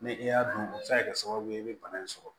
Ni i y'a dun a bɛ se ka kɛ sababu ye i bɛ bana in sɔrɔ